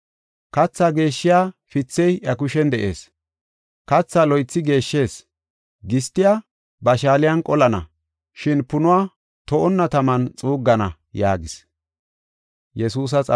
Kathaa geeshshiya pithey iya kushen de7ees. Kathaa loythi geeshshees; gistiya ba shaaliyan qolana, shin punuwa to7onna taman xuuggana” yaagis.